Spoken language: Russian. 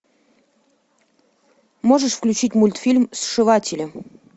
можешь включить мультфильм сшиватели